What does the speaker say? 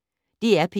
DR P1